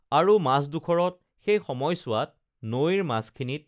আৰু মাজডোখৰত সেই সময়চোৱাত নৈৰ মাজখিনিত